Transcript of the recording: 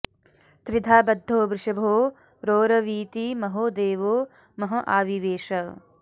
त्रिधा बद्धो वृषभो रोरवीति महो देवो महँ आविवेश